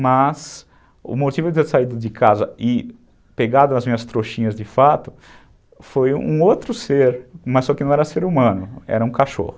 mas o motivo de eu ter saído de casa e pegado as minhas trouxinhas de fato foi um outro ser, mas só que não era ser humano, era um cachorro.